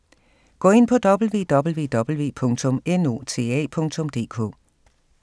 Gå ind på www.nota.dk